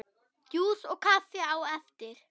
Djús og kaffi á eftir.